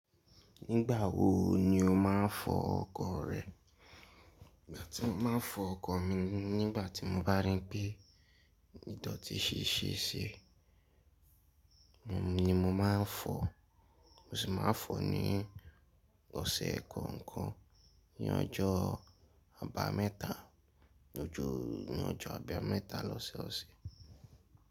Nígbà wo ni o máa ń fọ ọkọ̀ rẹ? Ìgbà tí mo máa ń fọ ọkọ̀ mi ni nígbà tí mo bá rí pé ìdọ̀tí ti ṣe ṣi, emi ni mo máa ń fọ. Mo sì máa ń fọ ní ọ̀sẹ̀ kookan. Ni ọjọ́ àbámẹ́ta, ní ọjọ́ àbámẹ́ta lọ́sẹ̀ ọ̀sẹ̀.